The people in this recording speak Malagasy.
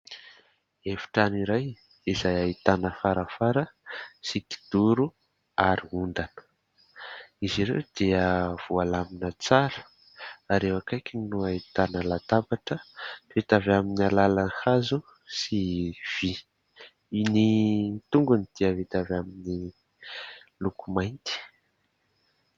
Efitrano iray izay ahitana farafara sy kidoro ary ondana. Izy ireo dia voalamina tsara ary eo akaikiny no ahitana latabatra vita avy amin'ny alalan'ny hazo sy vy. Ny tongony dia vita avy amin'ny loko mainty.